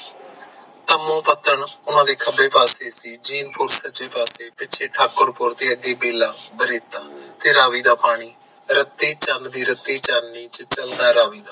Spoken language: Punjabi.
ਤਾਮੋਪਤਨ ਓਹਨਾ ਦੇ ਖੱਬੇ ਪਾਸੇ ਸੀ ਚਿੰਪੂਰ ਸਜੇ ਪਾਸੇ ਪਿੱਛੇ ਠਾਕੁਪੁਰ ਦੀ ਅੱਧੀ ਬੇਲਾ ਬ੍ਰਿਤਾ ਤੇ ਰਾਵੀ ਦਾ ਪਾਣੀ ਰੱਤੀ ਚੰਨ ਦੀ ਰੱਤੀ ਚਾਨਣੀ ਚ ਚਲਦਾ ਰਾਵੀ ਨਾ